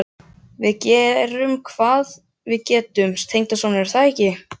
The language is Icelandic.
Við gerum hvað við getum, tengdasonur, er það ekki?